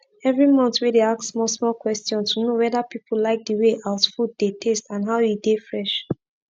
everi month wey dey ask small small question to know weda pipu like d way out food dey taste and how e dey fresh